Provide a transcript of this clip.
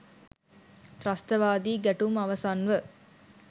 ත්‍රස්තවාදී ගැටුම් අවසන්ව